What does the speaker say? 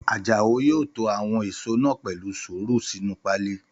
Àjàó yóò to àwọn èèso náà pẹ̀lú sùúrù sínu páálí